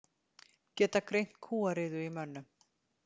Geta greint kúariðu í mönnum